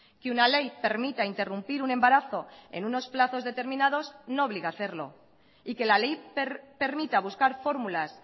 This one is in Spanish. que una ley permita interrumpir un embarazo en unos plazos determinados no obliga a hacerlo y que la ley permita buscar fórmulas